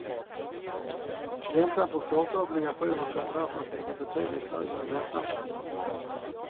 Räntan på korta obligationer kommer därför att ligga betydligt högre än räntan på långa.